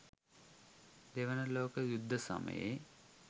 දෙවන ලෝක යුද්ධ සමයේ